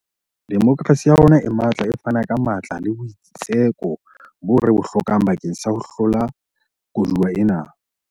Demokerasi ya rona e matla e fana ka matla le boitseko boo re bo hlokang bakeng sa ho hlola koduwa ena.